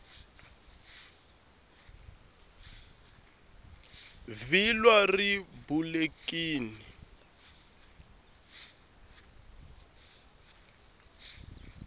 vhilwa ri bulekini